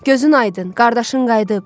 Gözün aydın, qardaşın qayıdıb!